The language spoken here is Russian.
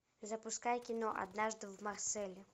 запускай кино однажды в марселе